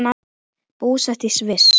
Búsett í Sviss.